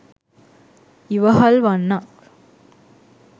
ඉවහල් වන්නක්.